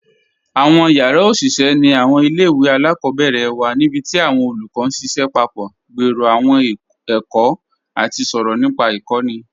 Awọn yara oṣiṣẹ ni awọn ilẹ̀-iwe aláàkọbẹ̀rẹ̀ wa nibíti awọn olúkọ̀ n ṣiṣẹ papọ̀, gbèrò awọn èkó, àti sọ̀rọ̀ nípa ikọ̀ni.